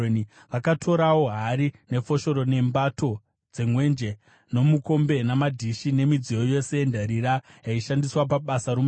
Vakatorawo hari, nefoshoro, nembato dzemwenje, nomukombe namadhishi nemidziyo yose yendarira yaishandiswa pabasa romutemberi.